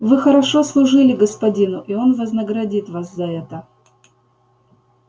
вы хорошо служили господину и он вознаградит вас за это